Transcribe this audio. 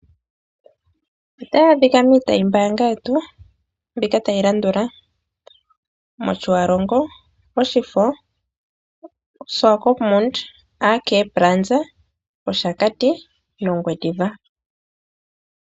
Otayi adhika miitayimbaanga yetu mbika tayi landula: mOtjiwarongo, mOshifo, Swakopmund AK Plaza, mOshakati nOngwediva.